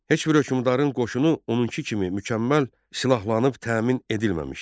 Heç bir hökmdarın qoşunu onunki kimi mükəmməl silahlanıb təmin edilməmişdi.